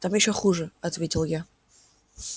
там ещё хуже ответил я